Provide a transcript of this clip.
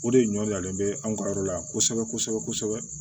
O de ɲɔlen bɛ an ka yɔrɔ la kosɛbɛ kosɛbɛ kosɛbɛ